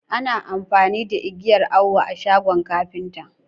Ana amfani da igiyan Awo a shagon kapinta.